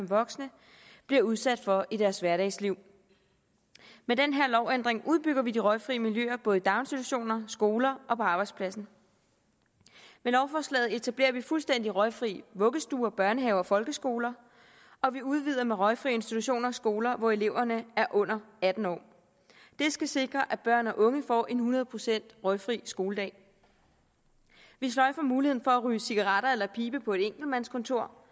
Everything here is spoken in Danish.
voksne bliver udsat for i deres hverdagsliv med den her lovændring udbygger vi de røgfrie miljøer både i daginstitutioner skoler og på arbejdspladsen med lovforslaget etablerer vi fuldstændig røgfrie vuggestuer børnehaver og folkeskoler og vi udvider med røgfrie institutioner skoler hvor eleverne er under atten år det skal sikre at børn og unge får en hundrede procent røgfri skoledag vi sløjfer muligheden for at ryge cigaretter eller pibe på enkeltmandskontorer